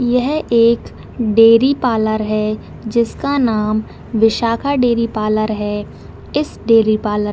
यह एक dairy parlour है जिसका नाम विशाखा डेरी पार्लर है इस डेरी पार्लर --